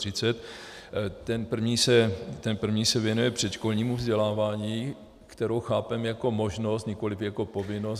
Ten první se věnuje předškolnímu vzdělávání, které chápeme jako možnost, nikoliv jako povinnost.